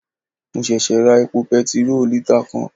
Mo sèsè ra epo petiró lítà kan